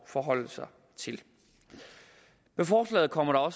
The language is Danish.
forholde sig til med forslaget kommer